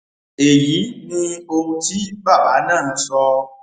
èyí ni ohun tí bàbá náà sọ